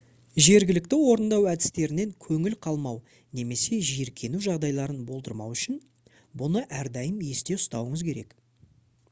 жергілікті орындау әдістерінен көңіл қалмау немесе жиіркену жағдайларын болдырмау үшін бұны әрдайым есте ұстауыңыз керек